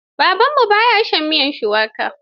Babanmu ba ya shan miyar shuwaka.